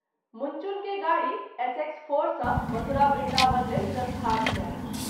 मुनचुन के गाड़ी SX-4 सँ मथुरा वृन्दावन लेल प्रस्थान कएल।